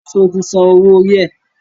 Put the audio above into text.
Sọ ti sanwó orí ẹ̀?